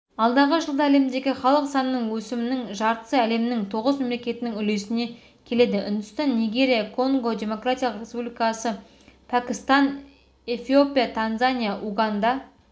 алдағы жылда әлемдегі халық санының өсімінің жартысы әлемнің тоғыз мемлекетінің үлесіне келеді үндістан нигерия конго демократиялық республикасы пәкістан эфиопия танзания уганда